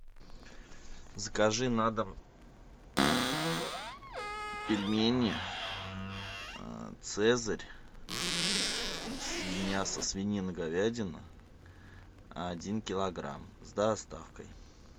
закажи на дом пельмени цезарь мясо свинина говядина один килограмм с доставкой